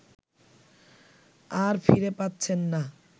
আর ফিরে পাচ্ছেন না